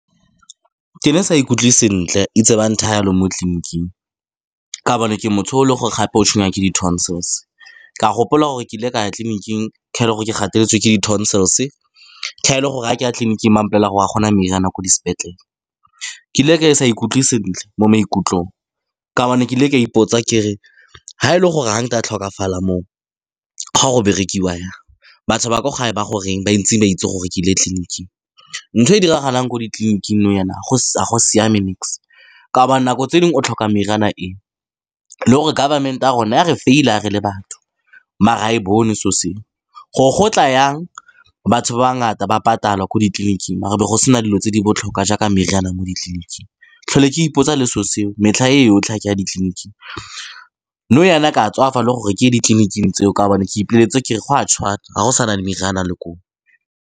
Ke ne sa ikutlwe sentle, itse ba nthaya jalo mo tleniking, ka gobane ke motho o e leng gore gape o tshwengwa ke di-tonsils. Ka gopola gore ke ile ka ya tleliniking ka go ke gateletswe ke di-tonsils. Ke ga e le gore a ke ya tleliniking, ba mpolelela gore a go na meriana ko dis'petlele. Ke ile ka sa ikutlwe sentle mo maikutlong ka gobane ke ile ke ipotsa, ke re ga e le gore ga nka tlhokafala moo, go a go berekiwa jang? Batho ba ko gae ba gore eng ba ntse ba itse gore ke ile tleliniking? Ntho e diragalang ko ditleliniking nou jaana ga go siame nix. Ka gobane nako tse dingwe o tlhoka meriana e, le gore government-e ya rona ya re fail-a re le batho maar ga e bone selo seo. Gore go tla jang batho ba ngata ba patala ko ditleliniking maar e be go sena dilo tse di botlhokwa jaaka meriana mo ditleliniking. Tlhole ke ipotsa le selo seo, metlha e yotlhe ya kwa ditleliniking nou jaana ke a tswafa le gore ke ye ditleniking tseo ka gobane ke ipoleletse gore go a tshwana, ga go sa na le meriana le koo.